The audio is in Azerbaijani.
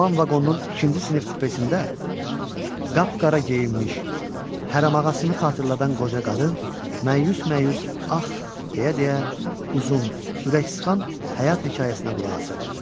Alman vaqonunun ikinci sinif kupesində qapqara geyinmiş, hərəm ağasını xatırladan qoca qadın məyus-məyus ah deyə-deyə uzun, ürəksıxan həyat hekayəsinə qulaq asırdı.